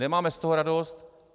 Nemáme z toho radost.